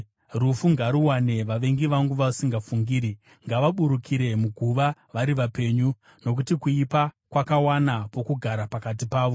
Rufu ngaruwane vavengi vangu vasingafungiri; ngavaburukire muguva vari vapenyu, nokuti kuipa kwakawana pokugara pakati pavo.